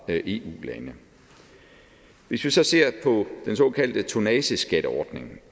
eu lande hvis vi så ser på den såkaldte tonnageskatteordning